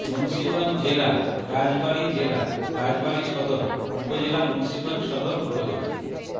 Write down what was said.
মুন্সীগঞ্জ জেলা রাজবাড়ী জেলা রাজবাড়ী সদর উপজেলা মুন্সীগঞ্জ সদর উপজেলা